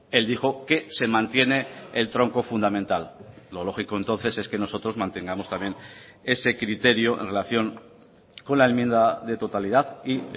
él dijo que se mantiene el tronco fundamental lo lógico entonces es que nosotros mantengamos también ese criterio en relación con la enmienda de totalidad y